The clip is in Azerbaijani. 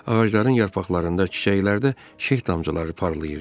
Ağacların yarpaqlarında, çiçəklərdə şeh damcıları parlayırdı.